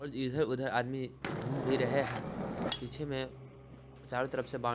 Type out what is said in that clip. और इधर-उधर आदमी घूम भी रहे हैं पीछे में चारों तरफ से बाऊ--